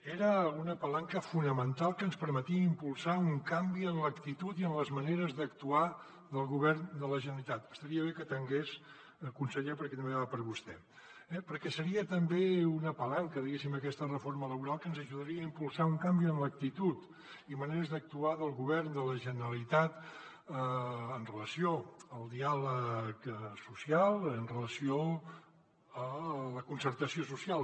era una palanca fonamental que ens permetia impulsar un canvi en l’actitud i en les maneres d’actuar del govern de la generalitat estaria bé que atengués conseller perquè també va per a vostè eh perquè seria també una palanca diguéssim aquesta reforma laboral que ens ajudaria a impulsar un canvi en l’actitud i maneres d’actuar del govern de la generalitat amb relació al diàleg social amb relació a la concertació social